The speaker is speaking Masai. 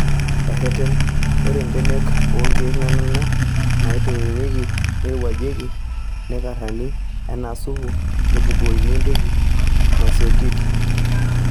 Ereten:Ore mbenek oonkiek naanana neitokitokieki, neirowuajieki, neikaranki enaa supu nebukoini entoki naisotieki.